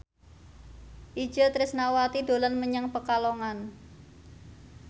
Itje Tresnawati dolan menyang Pekalongan